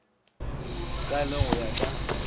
ka le go ya ka